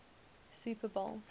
super bowl